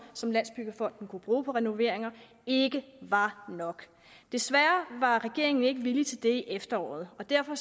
som landsbyggefonden kunne bruge på renoveringer ikke var nok desværre var regeringen ikke villig til det i efteråret derfor